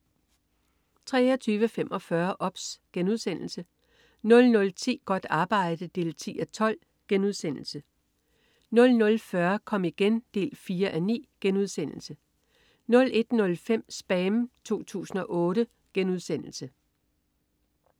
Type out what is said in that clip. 23.45 OBS* 00.10 Godt arbejde 10:12* 00.40 Kom igen 4:9* 01.05 SPAM 2008*